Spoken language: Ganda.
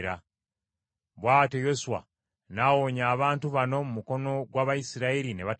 Bw’atyo Yoswa n’awonya abantu bano mu mukono gw’Abayisirayiri, ne batabatta.